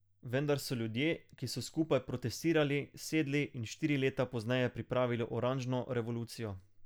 Vendar so ljudje, ki so skupaj protestirali, sedli in štiri leta pozneje pripravili oranžno revolucijo.